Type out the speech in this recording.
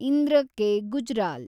Indra K. Gujral